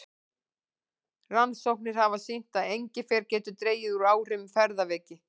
Rannsóknir hafa sýnt að engifer getur dregið úr áhrifum ferðaveiki.